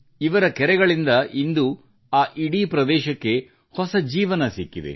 ಇವರ ಕೆರೆಗಳಿಂದ ಇಂದು ಆ ಇಡೀ ಪ್ರದೇಶಕ್ಕೆ ಹೊಸ ಜೀವನ ಸಿಕ್ಕಿದೆ